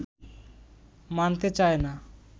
মানতে চায় না